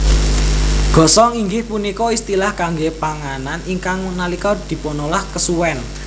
Gosong inggih punika istilah kangge panganan ingkang nalika dipunolah kesuwen